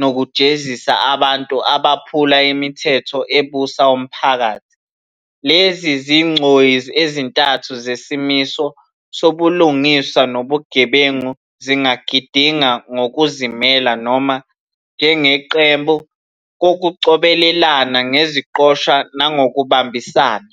nokujezisa abantu abaphula imithetho ebusa umphakathi. Lezi zigcoyi ezintathu zesimiso sobulungiswa nobugebengu zingagidinga ngokuzimela noma njengeqembu ngokucobelelana ngeziqoshwa nangokubambisana.